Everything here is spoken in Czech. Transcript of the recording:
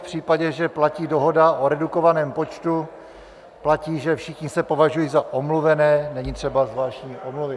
V případě, že platí dohoda o redukovaném počtu, platí, že všichni se považují za omluvené, není třeba zvláštní omluvy.